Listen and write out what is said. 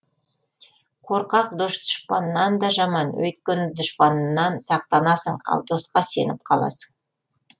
қорқақ дос дұшпаннан да жаман өйткені дұшпаннан сақтанасың ал досқа сеніп қаласың